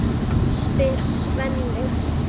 spyr Svenni.